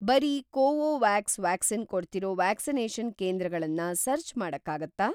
ಬರೀ Covovax vaccine ಕೊಡ್ತಿರೋ vaccination ಕೇಂದ್ರಗಳನ್ನ ಸರ್ಚ್‌ ಮಾಡಕ್ಕಾಗತ್ತಾ?